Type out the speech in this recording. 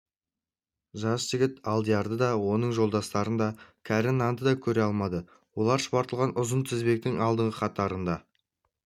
жас жігіт алдиярды да оның жолдастарын да кәрі нанды да көре алмады олар шұбатылған ұзын тізбектің алдыңғы қатарында